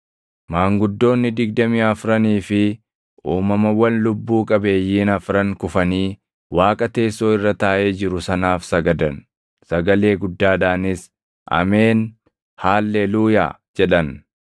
Maanguddoonni digdamii afranii fi uumamawwan lubbuu qabeeyyiin afran kufanii Waaqa teessoo irra taaʼee jiru sanaaf sagadan; sagalee guddaadhaanis, “Ameen; Haalleluuyaa!” jedhan.